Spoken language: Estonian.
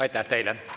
Aitäh teile!